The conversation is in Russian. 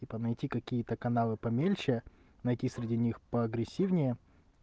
типа найти какие-то каналы помельче найти среди них по агрессивнее